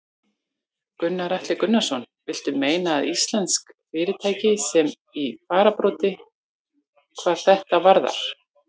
Gunnar Atli Gunnarsson: Viltu meina að íslensk fyrirtæki séu í fararbroddi hvað þetta varðar?